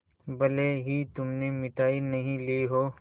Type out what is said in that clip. भले ही तुमने मिठाई नहीं ली हो